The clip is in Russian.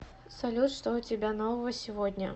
салют что у тебя нового сегодня